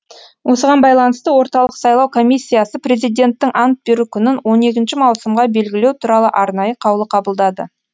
осыған байланысты орталық сайлау комиссиясы президенттің ант беру күнін он екінші маусымға белгілеу туралы арнайы қаулы қабылдады